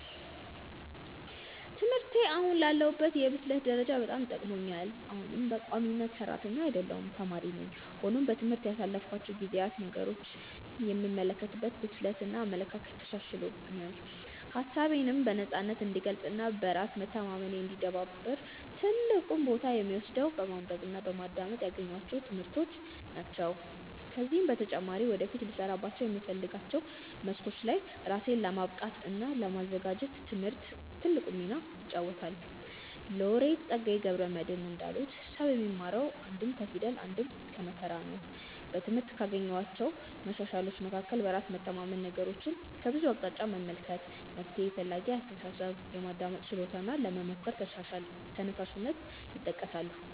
ትምህርቴ አሁን ላለሁበት የብስለት ደረጃ በጣም ጠቅሞኛል። አሁንም በቋሚነት ሰራተኛ አይደለሁም ተማሪ ነኝ። ሆኖም በትምህርት ያሳለፍኳቸው ጊዜያት ነገሮችን የምመለከትበትን ብስለት እና አመለካከት አሻሽሎልኛል። ሀሳቤነም በነፃነት እንድገልፅ እና በራስ መተማመኔ እንዲዳብር ትልቁን ቦታ የሚወስደው በማንበብ እና በማዳመጥ ያገኘኋቸው ትምህርቶች ናቸው። ከዚህም በተጨማሪ ወደፊት ልሰራባቸው በምፈልጋቸው መስኮች ላይ ራሴን ለማብቃት እና ለማዘጋጀት ትምህርት ትልቁን ሚና ይጫወታል። ሎሬት ፀጋዬ ገብረ መድህን እንዳሉት "ሰው የሚማረው አንድም ከፊደል አንድም ከመከራ ነው"።በትምህርት ካገኘኋቸው መሻሻሎች መካከል በራስ መተማመን፣ ነገሮችን ከብዙ አቅጣጫ መመልከት፣ መፍትሔ ፈላጊ አስተሳሰብ፣ የማዳመጥ ችሎታ እና ለመሞከር ተነሳሽነት ይጠቀሳሉ።